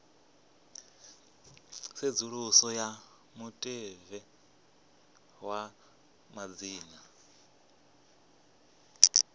tsedzuluso ya mutevhe wa madzina